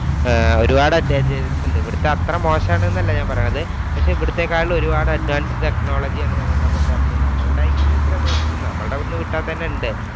ഒരുപാട് advantages ഉണ്ട്. ഇവിടുത്തെ അത്ര മോശമാണെന്നല്ല ഞാൻ പറയണത്. പക്ഷേ ഇവിടുത്തെക്കാളും ഒരുപാട് advance technology ആണ് നമ്മടെ ഇപ്പം പൊറത്തുള്ളേ. ഈ പ്രദേശത്ത് നിന്ന് നമ്മളടെ അവിടുന്ന് വിട്ടാ തന്നെ ഉണ്ട്.